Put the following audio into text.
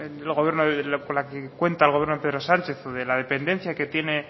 con la que cuenta el gobierno de pedro sánchez o de la dependencia que tiene